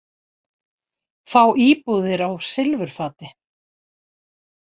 Fá íbúðir á silfurfati